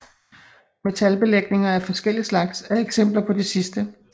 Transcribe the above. Metalbelægninger af forskellig slags er eksempler på det sidste